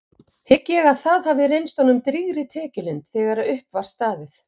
Hygg ég að það hafi reynst honum drýgri tekjulind þegar upp var staðið.